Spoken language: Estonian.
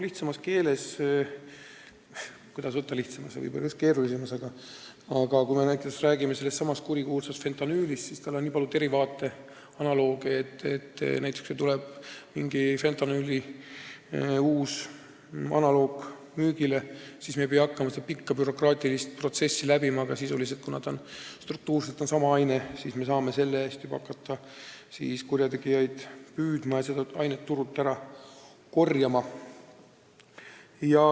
Lihtsamas keeles öeldes – kuidas võtta, kas lihtsamas, võib-olla just keerulisemas –, kui me näiteks räägime sellestsamast kurikuulsast fentanüülist, siis tal on nii palju derivaate, analooge, et kui tuleb fentanüüli uus analoog müügile, siis me nüüd ei pea hakkama seda pikka bürokraatilist protsessi läbi tegema, sest kuna see struktuurselt on sama aine, saame me hakata juba kurjategijaid püüdma ja seda ainet turult ära korjama.